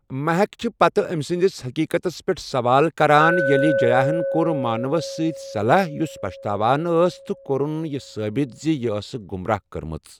مہک چھِ پتہٕ أمۍ سٕنٛدِس حقیقتَس پٮ۪ٹھ سوال کران ییٚلہِ جیاہَن کوٚر مانوَس سۭتۍ صلح یوٚس پچھتاوان ٲس تہٕ کورُن یہِ ثٲبت زِ یہِ ٲسٕکھ گمراہ کٔرمٕژ۔